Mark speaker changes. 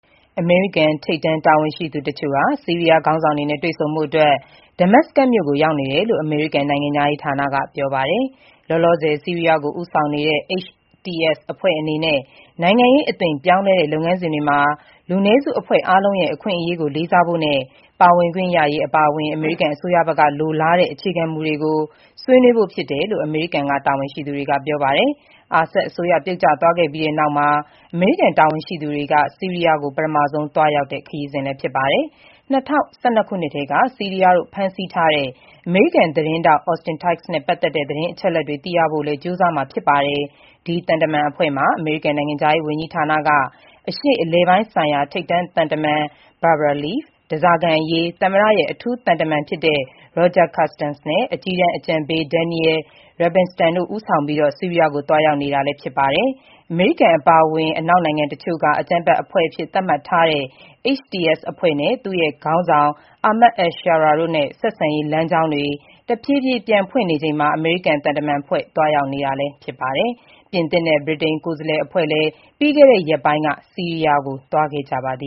Speaker 1: အမေရိကန် ထိပ်တန်းတာဝန်ရှိသူတချို့ ဆီးရီးယားခေါင်းဆောင်တွေနဲ့ တွေ့ဆုံဖို့ Damascus ကို ရောက်နေတယ်လို့ အမေရိကန်နိုင်ငံခြားရေးဌာနက ပြောပါတယ်။ လောလောဆယ် ဆီးရီးယားကို ဦးဆောင်နေတဲ့ HTS အဖွဲ့အနေနဲ့ နိုင်ငံရေးအသွင်ပြောင်းလဲတဲ့ လုပ်ငန်းစဉ်တွေမှာ လူနည်းစု အဖွဲ့အားလုံးရဲ့ အခွင့်အရေးကိုလေးစားဖို့နဲ့ ပါဝင်ခွင့်ရရေးအပါအဝင် အမေရိကန်အစိုးရဘက်က လိုလားတဲ့ အခြေခံမူတွေကို ဆွေးနွေးဖို့ ဖြစ်တယ်လို့ အမေရိကန် တာဝန်ရှိသူတွေက ပြောပါတယ်။ Assad အစိုးရပြုတ်ကျသွားခဲ့ပြီးနောက်မှာ အမေရိကန်တာဝန်ရှိသူတွေ ဆီးရီးယားကို ပထမဆုံး သွားရောက်တာဖြစ်ပါတယ်။ ၂၀၁၂ ခုနှစ်ကတည်းက ဆီးရီးယားတို့ဖမ်းဆီးထားတဲ့ အမေရိကန် သတင်းထောက် Austin Tice နဲ့ပတ်သက်တဲ့ သတင်းအချက်အလက်တွေသိရဖို့လည်း ကြိုးစားမှာ ဖြစ်ပါတယ်။ အမေရိကန်နိုင်ငံခြားရေးဝန်ကြီးဌာနက အရှေ့အလယ်ပိုင်းဆိုင်ရာ ထိပ်တန်းသံတမန် Barbara Leaf၊ ဓားစာခံအရေးသမ္မတရဲ့ အထူးသံတမန် Roger Carstens နဲ့ အကြီးတန်းအကြံပေး Daniel Rubinstein တို့ ဦးဆောင်ပြီး ဆီးရီးယားကို သွားရောက်နေတာြဖစ်ပါတယ်။ အမေရိကန်အပါအဝင် အနောက်နိုင်ငံတချို့က အကြမ်းဖက်အဖွဲ့အဖြစ်သတ်မှတ်ထားတဲ့ HTS အဖွဲ့နဲ့ သူ့ရဲ့ခေါင်းဆောင် Ahmed al-Sharaa တို့နဲ့ ဆက်ဆံရေးလမ်းကြောင်းတွေ တဖြည်းဖြည်း ပြန်ဖွင့်နေ ချိန်မှာ အမေရိကန် သံတမန်အဖွဲ့သွားရောက်နေကြတာလည်းဖြစ်ပါတယ်။ ပြင်သစ်နဲ့ ဗြိတိန် ကိုယ်စားလှယ်အဖွဲ့လည်း ပြီးခဲ့တဲ့ရက်ပိုင်းက ဆီးရီးယားကို သွားခဲ့ကြပါတယ